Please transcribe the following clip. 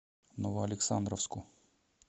новоалександровску